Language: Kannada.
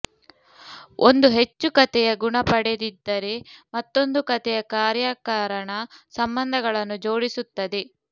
ಒಂದು ಹೆಚ್ಚು ಕತೆಯ ಗುಣ ಪಡೆದಿದ್ದರೆ ಮತ್ತೊಂದು ಕತೆಯ ಕಾರ್ಯಕಾರಣ ಸಂಬಂಧಗಳನ್ನು ಜೋಡಿಸುತ್ತದೆ